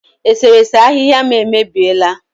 Eserese ahịhịa m emebiela